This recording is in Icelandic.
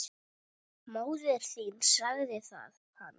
Móðir þín sagði hann.